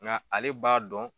Nga ale b'a dɔn